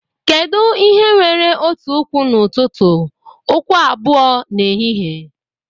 Kedu ihe nwere otu ụkwụ n'ụtụtụ, ụkwụ abụọ n'ehihie?